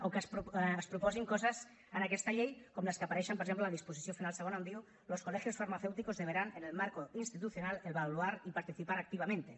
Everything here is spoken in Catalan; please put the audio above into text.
o que es proposin coses en aquesta llei com les que apareixen per exemple a la disposició final segona on diu los colegios farmacéuticos deberán en el marco institucional evaluar y participar activamente